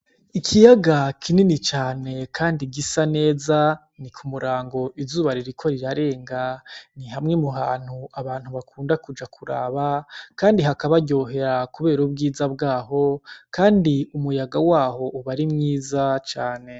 Ikiyaga kinini cane kandi gisa neza, ni ku murango izuba ririko rirarenga. Ni hamwe mu hantu abantu bakunda kuja kuraba kandi hakabaryohera kubera ubwiza bwaho, kandi umuyaga waho uba ari mwiza cane.